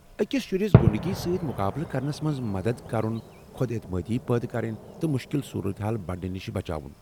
اکس شُرِس غُنڈٕگی سۭتۍ مقابلہٕ كرنس منٛز مدتھ كرُن خۄد اعتمٲدی پٲدٕ تہٕ مُشکل صورتحال بڑنہٕ نش بچاو ۔